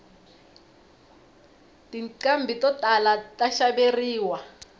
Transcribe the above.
tinqhambi to tala ta xaveriwa